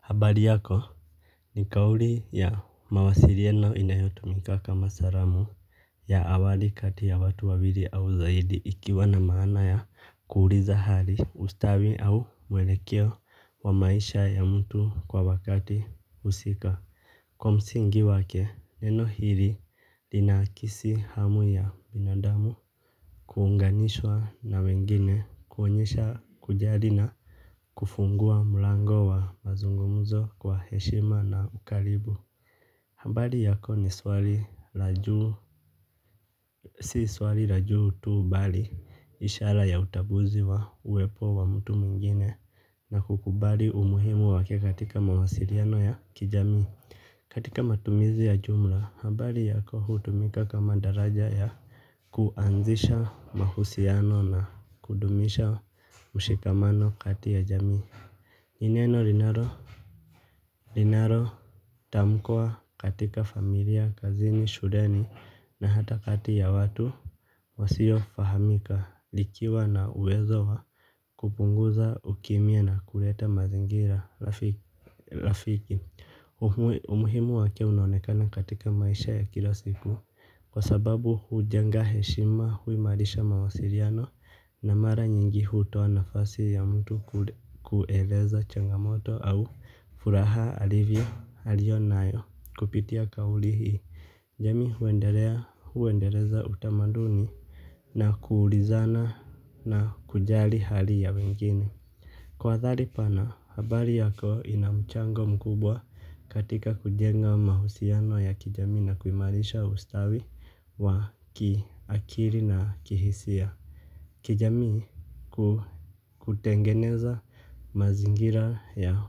Habari yako? Ni kauli ya mawasiliano inayotumika kama salamu ya awali kati ya watu wawili au zaidi ikiwa na maana ya kuuliza hali ustawi au mwelekeo wa maisha ya mtu kwa wakati husika. Kwa msingi wake, neno hili linahakisi hamu ya binadamu kuunganishwa na wengine, kuonyesha kujali na kufungua mlango wa mazungumzo kwa heshima na ukaribu. Habari yako ni swali la juu. Si swali la juu tu bali ishara ya utambuzi wa uwepo wa mtu mwingine. Na kukubali umuhimu wake katika mawasiliano ya kijamii. Katika matumizi ya jumla habari yako hutumika kama daraja ya kuanzisha mahusiano na kudumisha mshikamano kati ya jamii. Ni neno linalo, linaro tamkwa katika familia, kazini, shudeni na hata kati ya watu wasio fahamika likiwa na uwezo wa kupunguza ukimya na kuleta mazingira rafiki. Umuhimu wake unaonekana katika maisha ya kila siku, kwa sababu hujenga heshima huimalisha mawasiliano na mara nyingi hutoa nafasi ya mtu kueleza changamoto au furaha alivyo, aliyonayo kupitia kauli hii. Jamii huendeleza utamaduni na kuulizana na kujali hali ya wengine kwa dhati pana, habari yako ina mchango mkubwa katika kujenga mahusiano ya kijamii na kuimalisha ustawi wa kiakili na kihisia. Kijamii kutengeneza mazingira ya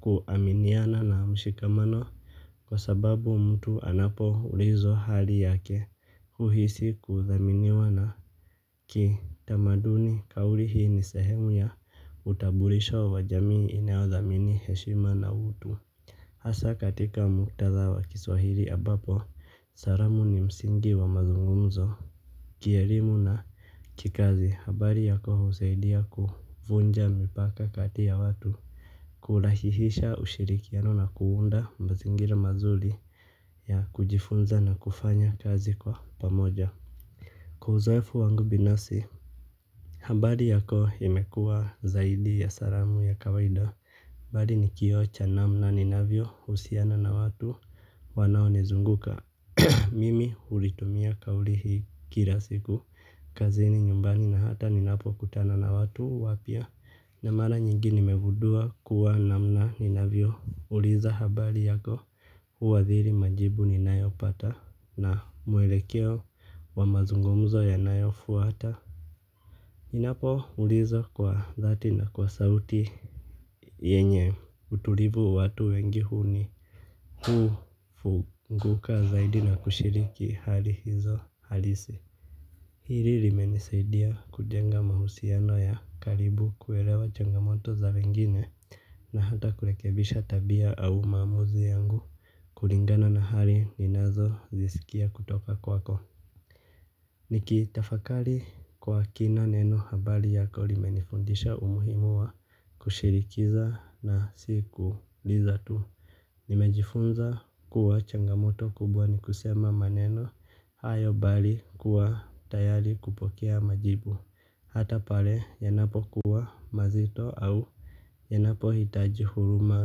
kuaminiana na mshikamano kwa sababu mtu anapo ulizwa hali yake uhisi kuthaminiwa na kitamaduni kauli hii ni sehemu ya utambulisho wa jamii inauthamini heshima na utu. Hasa katika muktadha wa kiswahili ambapo, salamu ni msingi wa mazungumzo. Kielimu na kikazi habari yako husaidia kuvunja mipaka kati ya watu. Kulahisisha ushirikiano na kuunda mazingira mazuri ya kujifunza na kufanya kazi kwa pamoja kwa uzoefu wangu binafsi, habari yako imekuwa zaidi ya salamu ya kawaida bali ni kioo cha namna ninavyohusiana na watu. Wanaonizunguka mimi hulitumia kauli hii kila siku. Kazini, nyumbani, na hata ninapokutana na watu wapya. Na mara nyingi nimegundua kuwa namna ninavyouliza habari yako huathiri majibu ninayopata na muelekeo wa mazungumzo ya nayofuata. Ninapo uliza kwa dhati na kwa sauti yenye utulivu, watu wengi huni kufunguka zaidi na kushiriki hali hizo halisi. Hili limenisaidia kujenga mahusiano ya karibu kuelewa changamoto za wengine na hata kurekebisha tabia au maamuzi yangu. Kulingana na hali ninazozisikia kutoka kwako. Nikitafakari kwa kina, neno habari yako limenifundisha umuhimu wa kushirikiza na siku liza tu. Nimejifunza kuwa changamoto kubwa ni kusema maneno hayo bali kuwa tayari kupokea majibu. Hata pale yanapokuwa mazito au yanapohitaji huruma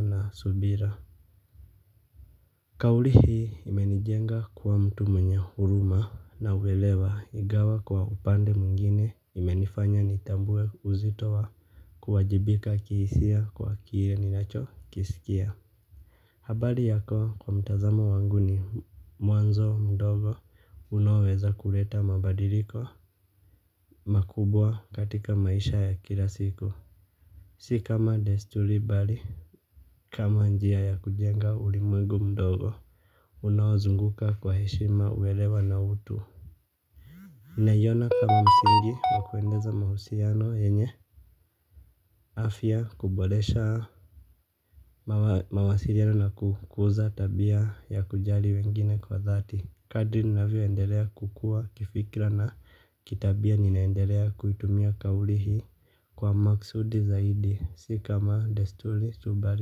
na subira kauli hii imenijenga kuwa mtu mwenye huruma na uelewa, ingawa kwa upande mwengine imenifanya nitambue uzito wa kuwajibika kihisia kwa kile ninachokisikia. Habari yako kwa mtazamo wangu ni mwanzo mdogo unaoweza kuleta mabadiliko makubwa katika maisha ya kila siku. Si kama desturi bali, kama njia ya kujenga ulimwegu mdogo, unawazunguka kwa heshima uelewa na utu. Naiona kama msingi wa kwendeleza mahusiano yenye afya kuboresha mawasiliano na kukuza tabia ya kujali wengine kwa dhati. Kadiri ninavyoendelea kukua kifikra na kitabia ninaendelea kuitumia kauli hii kwa makusudi zaidi, si kama desturi tu bali.